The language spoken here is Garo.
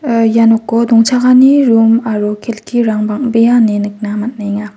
ia noko dongchakani rum aro kelkirang bang·bea ine nikna man·enga.